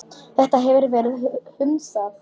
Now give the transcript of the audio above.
Þetta hefur verið hunsað.